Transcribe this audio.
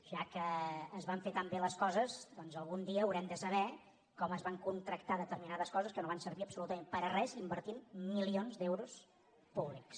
ja que es van fer tan bé les coses doncs algun dia haurem de saber com es van contractar determinades coses que no van servir absolutament per a res invertint milions d’euros públics